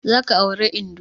Za ka auri indo!